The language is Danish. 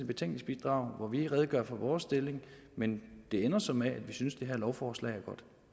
betænkningsbidrag hvori vi redegør for vores stilling men det ender så med at vi synes at det her lovforslag